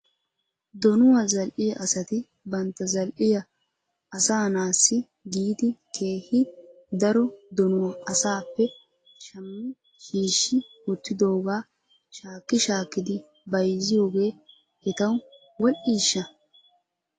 Donuwaa zal'iyaa asati bantta zal'iyaa aassanaassi giidi keehi daro donuwaa asaappe shammi shiishi wottidoogaa shaaki shaakkidi bayzziyoogee etaw wodhdhishsha ?